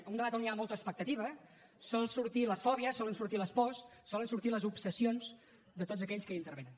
en un debat on hi ha molta expectativa solen sortir les fòbies solen sortir les pors solen sortir les obsessions de tots aquells que hi intervenen